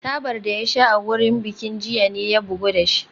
Tabar da ya sha a wurin bikin jiya ne ya bugu da shi